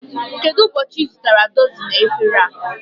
Kedụ ụbọchị I zụtara dọzini efere a?